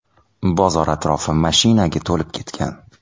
Bozor atrofi mashinaga to‘lib ketgan.